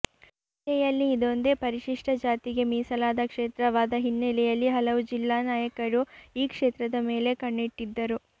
ಜಿಲ್ಲೆಯಲ್ಲಿ ಇದೊಂದೇ ಪರಿಶಿಷ್ಟ ಜಾತಿಗೆ ಮೀಸಲಾದ ಕೇತ್ರವಾದ ಹಿನ್ನಲೆಯಲ್ಲಿ ಹಲವು ಜಿಲ್ಲಾ ನಾಯಕರೂ ಈ ಕ್ಷೇತ್ರದ ಮೇಲೆ ಕಣ್ಣಿಟ್ಟಿದ್ದರು